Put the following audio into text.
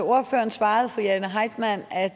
ordføreren svarede fru jane heitmann at